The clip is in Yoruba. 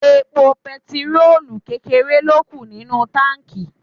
Epo bẹntiróòlù kékeré ló kù nínú táǹkì.